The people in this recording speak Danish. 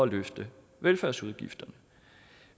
løfte velfærdsudgifterne